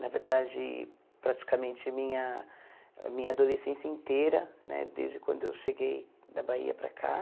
Na verdade, praticamente minha a minha adolescência inteira né, desde quando eu cheguei da Bahia para cá.